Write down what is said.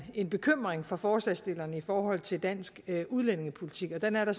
en bekymring fra forslagsstillerne i forhold til dansk udlændingepolitik og den er der